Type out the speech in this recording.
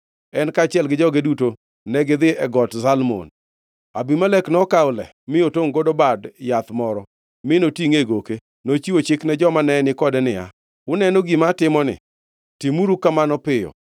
en kaachiel gi joge duto negidhi e Got Zalmon. Abimelek nokawo le mi otongʼogo bad yath moro, mi notingʼe e goke. Nochiwo chik ne joma nenikode niya, “Uneno gima atimoni! Timuru kamano piyo!”